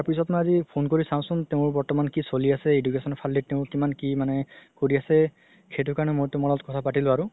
তাৰ পিছত মই আজি মই phone কৰি চাওচোন বৰ্তমান কি চলি আছে education ৰ ফাল দি তেওঁ কিমান কি মানে সেইটো কাৰণে মই তুমাৰ লগত কথা পাতিলো আৰু